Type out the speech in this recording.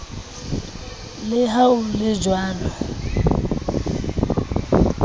le ha ho le jwalo